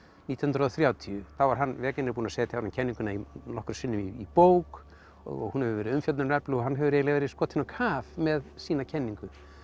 nítján hundruð og þrjátíu þá var hann búinn að setja kenninguna nokkrum sinnum í bók og hún hefur verið umfjöllunarefni og hann hefur eiginlega verið skotinn á kaf með sína kenningu